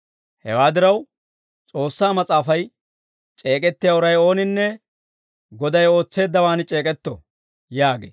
Hewaa diraw, S'oossaa Mas'aafay, «C'eek'ettiyaa uray ooninne, Goday ootseeddawaan c'eek'etto» yaagee.